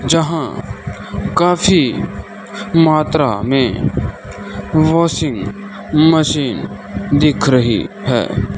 जहां काफी मात्रा में वाशिंग मशीन दिख रही है।